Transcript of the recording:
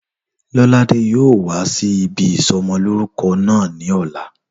Lọ́ládé yóò wá sí ibi ìsọmọlórúkọ náà ní ọ̀la